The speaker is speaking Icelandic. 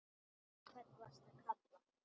Í hvern varstu að kalla?